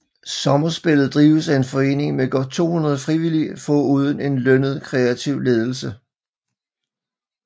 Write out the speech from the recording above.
Sommerspillet drives af en forening med godt 200 frivillige foruden en lønnet kreativ ledelse